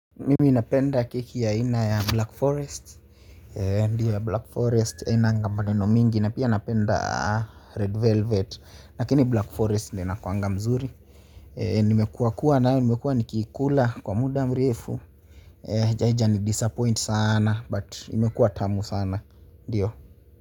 Mimi napenda keki ya aina ya Black Forest. Ndio ya Black Forest hainanga maneno mingi na pia napenda Red Velvet lakini Black Forest ndio inakuanga mzuri. Nimekuwakuwa nayo nimekuwa nikiikula kwa muda mrefu. Haijai ni disappoint sana but imekua tamu sana ndio.